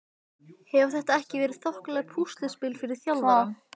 Hefur þetta ekki verið þokkalegt púsluspil fyrir þjálfarann?